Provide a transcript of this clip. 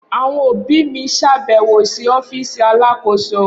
Awọn obi mi ṣabẹwo si ọfiisi Alakoso.